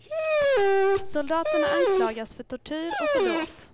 Soldaterna anklagas för tortyr och för dråp.